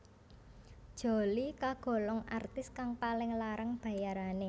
Jolie kagolong artis kang paling larang bayarané